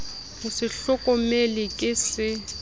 ho se hlokomele ke se